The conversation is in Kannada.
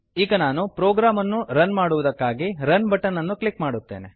ಈಗ ನಾನು ಪ್ರೋಗ್ರಾಮ್ ಅನ್ನು ರನ್ ಮಾಡುವುದಕ್ಕಾಗಿ ರನ್ ಬಟನ್ ಅನ್ನು ಕ್ಲಿಕ್ ಮಾಡುತ್ತೇನೆ